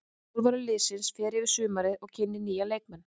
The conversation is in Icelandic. Þjálfari liðsins fer yfir sumarið og kynnir nýja leikmenn.